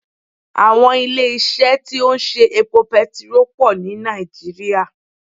Àwọn ilé isé tí ó ń ṣe epo petiró pò ní Nàìjíríà